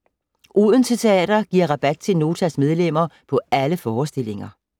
Odense Teater - giver rabat til Notas medlemmer på alle forestillinger.